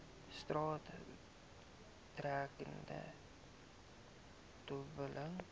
straat betreding dobbel